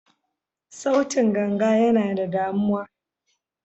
Sautin ganga yana da damuwa.